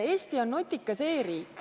Eesti on nutikas e-riik.